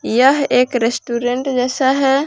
यह एक रेस्टोरेंट जैसा है।